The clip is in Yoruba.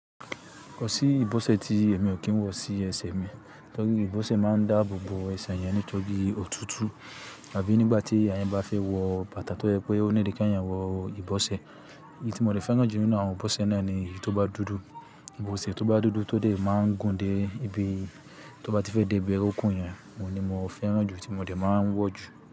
Kò sí ìbósè tí èmi ò kí ń wọ̀ sí ẹsẹ̀ mi, torí ìbósè máa ń dáàbò bo ẹsẹ̀ yẹn nítorí òtútù àbí nígbà tí èèyàn bá fẹ́ wọ bàtà tó jẹ́ pé ó need kí èèyàn wọ ìbọ̀sẹ̀. Èyí tí mo dè fẹ́ràn jù nínú àwọn ìbósẹ̀ náà ni èyí tó bá dúdú. Ìbósẹ̀ tó bá dúdú tó dẹ̀ máa ń gùn dé ibi tó bá ti fẹ́ dé ibi orokún yẹn, òun ni mo fẹ́ràn jù tí mo dè máa ń wọ̀ jù.